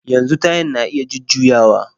Yanzu tayan na iya jujjuyawa